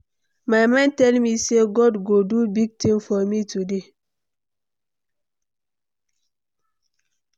My mind dey tell me sey God go do big thing for me today.